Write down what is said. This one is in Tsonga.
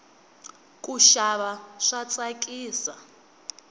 kuxava swa tsakisa